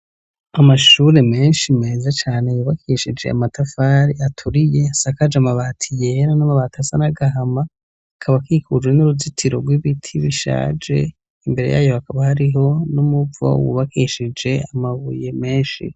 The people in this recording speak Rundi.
Amashure menshi meza cane yubakeshije amatafari aturiye asakaje amabati yera n'amabati asa n'agahama akaba akikuje n'uruzitiro rw'ibiti bishaje. Imbere yayo hakaba hariho n'umuvo wubakeshije amabuye menshi.